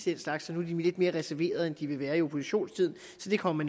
slags så nu er de lidt mere reserverede end de vil være i oppositionstiden så det kommer